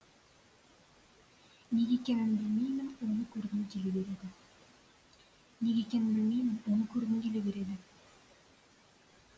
неге екенін білмеймін оны көргім келе береді неге екенін білмеймін оны көргім келе береді